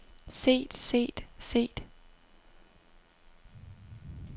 set set set